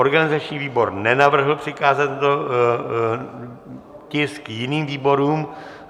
Organizační výbor nenavrhl přikázat tento tisk jiným výborům.